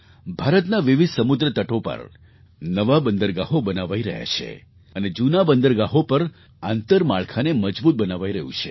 ભારતના વિવિધ સમુદ્ર તટો પર નવાં બંદરગાહો બનાવાઈ રહ્યાં છે અને જૂનાં બંદરગાહો પર આંતરમાળખાને મજબૂત બનાવાઈ રહ્યું છે